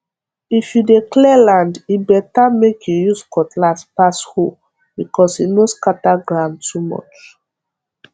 if you dey clear land e better make you use cutlass pass hoe because e no scatter ground too much